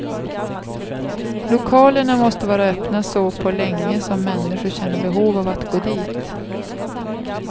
Lokalerna måste vara öppna så på länge som människor känner behov av att gå dit.